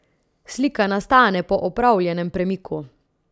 Slika nastane po opravljenem premiku.